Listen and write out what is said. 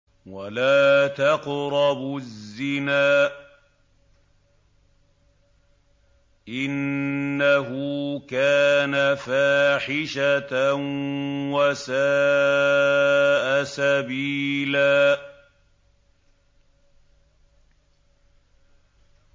وَلَا تَقْرَبُوا الزِّنَا ۖ إِنَّهُ كَانَ فَاحِشَةً وَسَاءَ سَبِيلًا